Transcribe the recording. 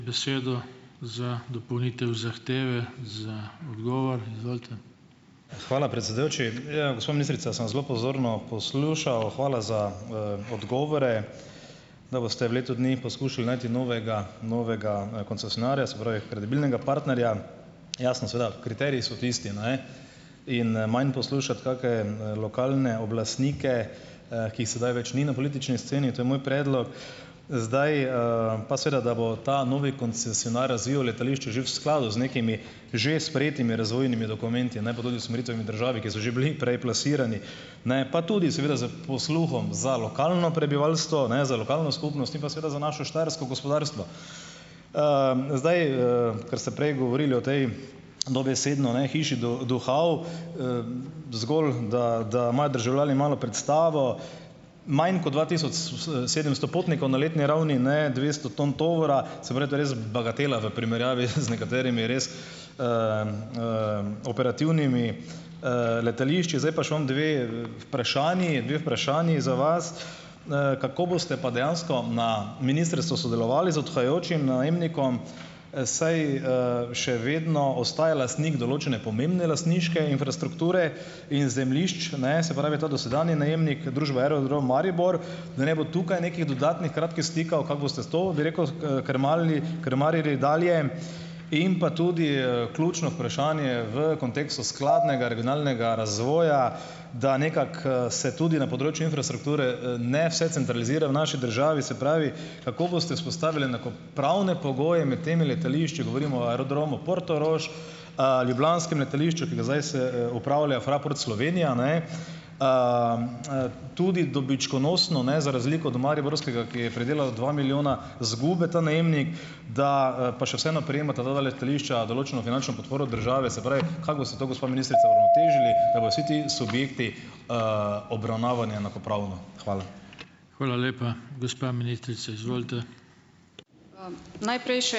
Hvala, predsedujoči. Ja. Gospa ministrica sem zelo pozorno poslušal, hvala za, odgovore, da boste v letu dni poskušali najti novega novega, koncesionarja, se pravi, kredibilnega partnerja. Jasno, seveda, kriteriji so tisti, ne, in, manj poslušati kake, lokalne oblastnike, ki jih sedaj več ni na politični sceni, to je moj predlog. Zdaj, pa seveda, da bo ta novi koncesionar razvil letališče že v skladu z nekimi že sprejetimi razvojnimi dokumenti, ne pa tudi z usmeritvami države, ki so že bili prej plasirani, ne pa tudi seveda s posluhom za lokalno prebivalstvo, ne, za lokalno skupnost in pa seveda za naše štajersko gospodarstvo. Zdaj, ker ste prej govorili o tej dobesedno, ne, hiši duhov, zgolj, da da imajo državljani malo predstavo, manj kot dva tisoč sedemsto potnikov na letni ravni, ne, dvesto ton tovora so verjetno res bagatela v primerjavi z nekaterimi res, operativnimi, letališči. Zdaj pa še imam dve vprašanji, dve vprašanji za vas: Kako boste pa dejansko na ministrstvu sodelovali z odhajajočim najemnikom, saj, še vedno ostaja lastnik določene pomembne lastniške infrastrukture in zemljišč, ne, se pravi, ta dosedanji najemnik družbe Aerodrom Maribor, da ne bo tukaj nekih dodatnih kratkih stikov? Kako boste sto, bi rekel, krmarili krmarili dalje in pa tudi, ključno vprašanje v kontekstu skladnega regionalnega razvoja, da nekako, se tudi na področju infrastrukture, ne vse centralizira v naši državi, se pravi, kako boste vzpostavili enakopravne pogoje med temi letališči, govorimo o Aerodromu Portorož, ljubljanskem letališču, ki ga zdaj upravlja Fraport Slovenija, ne, tudi dobičkonosno, ne, za razliko od mariborskega, ki je pridelal dva milijona izgube, ta najemnik, da, pa še vseeno prejemata ti dve letališči določeno finančno podporo države. Se pravi, kako boste to gospa ministrica uravnotežili, da bojo vsi ti subjekti, obravnavani enakopravno? Hvala.